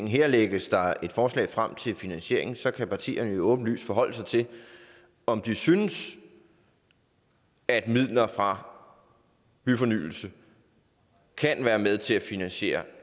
her lægges der et forslag frem til finansiering og så kan partierne jo åbenlyst forholde sig til om de synes at midler fra byfornyelse kan være med til at finansiere